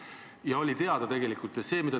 See oli tegelikult teada.